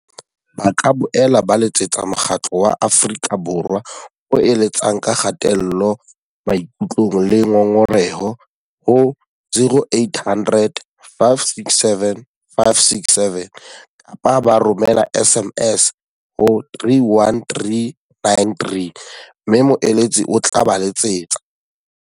Ba ka boela ba letsetsa Mokgatlo wa Afrika Borwa o eletsang ka Kgatello Maikutlong le Ngongoreho, ho 0800 567 567 kapa ba romela SMS ho 31393 mme moeletsi o tla ba letsetsa.